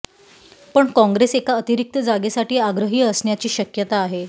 पण काँग्रेस एका अतिरिक्त जागेसाठी आग्रही असण्याची शक्यता आहे